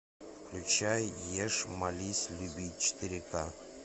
включай ешь молись люби четыре ка